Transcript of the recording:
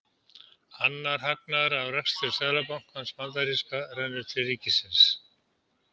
Annar hagnaður af rekstri seðlabankans bandaríska rennur til ríkisins.